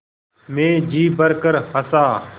मैं जी भरकर हँसा